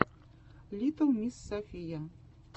литтл мисс софия